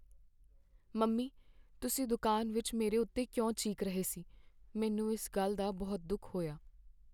Mummy! ਤੁਸੀਂ ਦੁਕਾਨ ਵਿੱਚ ਮੇਰੇ ਉੱਤੇ ਕਿਉਂ ਚੀਕ ਰਹੇ ਸੀ, ਮੈਨੂੰ ਇਸ ਗੱਲ ਦਾ ਬਹੁਤ ਦੁੱਖ ਹੋਇਆ।